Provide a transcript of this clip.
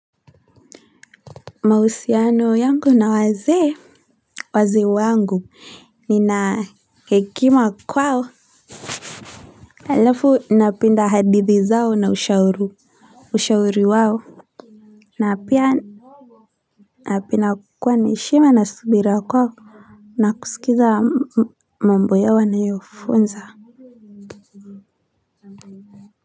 Mahusiano yangu na wazee wazee wangu nina hekima kwao alafu napenda hadithi zao na ushauru ushauri wao na pia apina kuwa ni heshima na subira kwao na kusikiza mambo yao wanayo funza.